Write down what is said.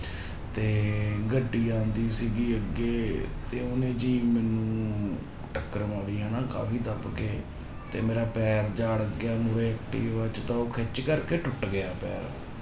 ਤੇ ਗੱਡੀ ਆਉਂਦੀ ਸੀਗੀ ਅੱਗੇ ਤੇ ਉਹਨੇ ਜੀ ਮੈਨੂੰ ਟੱਕਰ ਮਾਰੀ ਹਨਾ ਕਾਫ਼ੀ ਦੱਬ ਕੇ, ਤੇ ਮੇਰਾ ਪੈਰ ਜਿਹਾ ਅੜ ਗਿਆ ਮੂਹਰੇ ਐਕਟਿਵਾ ਚ ਤਾਂ ਉਹ ਖਿੱਚ ਕਰਕੇ ਟੁੱਟ ਗਿਆ ਪੈਰ।